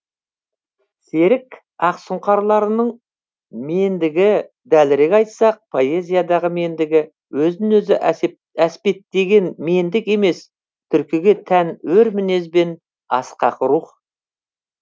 серік ақсұңқарларының мендігі дәлірек айтсақ поэзиядағы мендігі өзін өзі әспеттеген мендік емес түркіге тән өр мінез бен асқақ рух